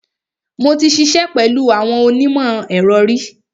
Mo ti ṣiṣẹ́ pẹ̀lú àwọn onímọ̀-ẹ̀rọ ri.